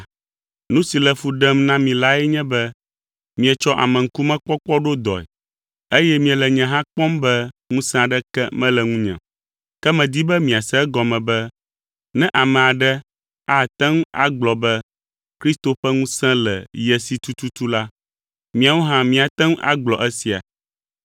Nu si le fu ɖem na mi lae nye be mietsɔ ameŋkumekpɔkpɔ ɖo dɔe, eye miele nye hã kpɔm be ŋusẽ aɖeke mele ŋunye o. Ke medi be miase egɔme be ne ame aɖe ate ŋu agblɔ be Kristo ƒe ŋusẽ le ye si tututu la, míawo hã míate ŋu agblɔ esia.